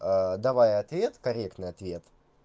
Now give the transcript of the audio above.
давая ответ корректный ответ